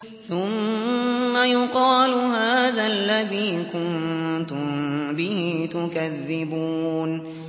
ثُمَّ يُقَالُ هَٰذَا الَّذِي كُنتُم بِهِ تُكَذِّبُونَ